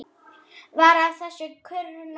Varð af þessu kurr nokkur.